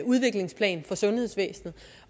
udviklingsplan for sundhedsvæsenet